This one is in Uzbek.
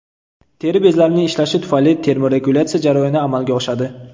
Teri bezlarining ishlashi tufayli termoregulyatsiya jarayoni amalga oshadi.